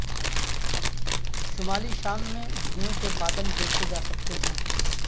شمالی شام میں دھوئیں کے بادل دیکھے جا سکتے ہیں